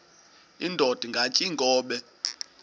indod ingaty iinkobe